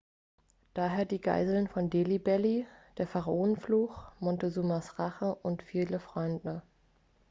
daher die geißeln von delhi belly der pharaonenfluch montezumas rache und ihre vielen freunde